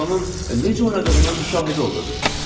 Siz onun necə oynadığının şahidi oldunuz.